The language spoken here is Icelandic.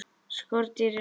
SKORDÝR JARÐAR!